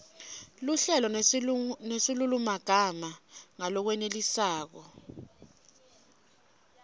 luhlelo nesilulumagama ngalokwenelisako